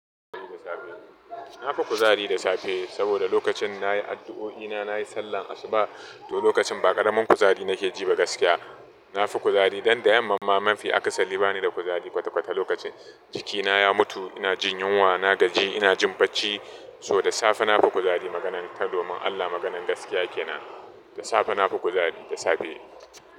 Na fi kuzari da safe saboda lokacin na yi addu'o'i na, na yi sallar asuba to lokacin ba ƙaramin kuzari na ke jiba gaskiya. Na fi kuzari dan da yamma mamman fi aka salli ba ni da kuzari kwata-kwata lokacin jikina ya mutu ina jin yunwa, na gaji ina jin bacci so da safe na fi kuzari maganan ta domin Allah maganan gaskiya ke na. Da safe na fi kuzari da safe.